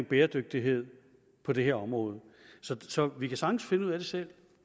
bæredygtighed på det her område så så vi kan sagtens finde ud af det selv